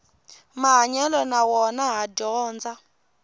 mahanyelo na wona ha dyondza